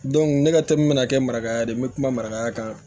ne ka to min bɛna kɛ marakaya ye n bɛ kuma marakaya kan